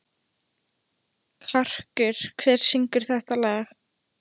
Karkur, hver syngur þetta lag?